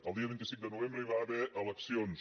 el dia vint cinc de novembre hi va haver eleccions